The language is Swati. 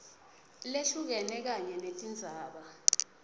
lehlukene kanye netindzaba